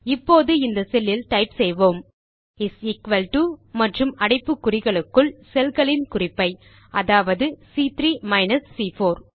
இப்போது இந்த செல் இல் டைப் செய்வோம் இஸ் எக்குவல் டோ மற்றும் அடைப்புக்குறிகளுக்குள் செல்களின் குறிப்பை அதாவது சி3 மைனஸ் சி4